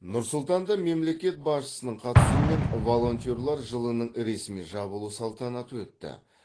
нұр сұлтанда мемлекет басшысының қатысуымен волонтерлер жылының ресми жабылу салтанаты өтті